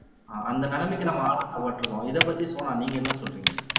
அஹ் ஆந்த நிலைமைக்கு நம்ம ஆளாக்கப்பட்டிருக்கோம் இதைப்பத்தி சோனா நீங்க என்ன சொல்றீங்க